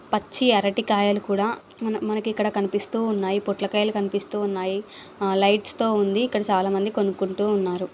పచ్చి అరటి కాయలు కూడా మన్-మనకు ఇక్కడ కనిపిస్తున్నాయి పొట్లకాయలు కనిపిస్తున్నాయి లైట్స్ తో ఉంది ఇక్కడ చాలా మంది కొనుక్కుంటు ఉన్నారు.